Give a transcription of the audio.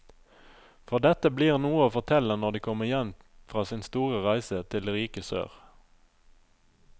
For dette blir noe å fortelle når de kommer hjem fra sin store reise til det rike sør.